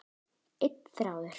Einn þráður.